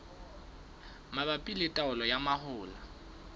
mabapi le taolo ya mahola